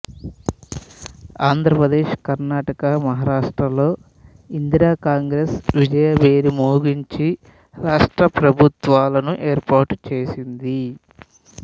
ఆంధ్రప్రదేశ్ కర్ణాటక మహారాష్ట్ర లలో ఇందిరా కాంగ్రెస్ విజయభేరి మ్రోగించి రాష్ట్ర ప్రభుత్వాలను ఏర్పాటు చేసింది